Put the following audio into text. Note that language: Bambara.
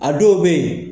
A dɔw bɛ yen